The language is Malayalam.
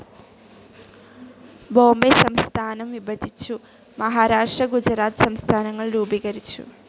ബോംബൈ സംസ്ഥാനം വിഭജിച്ചു മഹാരാഷ്ട്ര ഗുജറാത്ത് സംസ്ഥാനങ്ങൾ രൂപീകരിച്ചു.